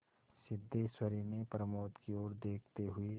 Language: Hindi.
सिद्धेश्वरी ने प्रमोद की ओर देखते हुए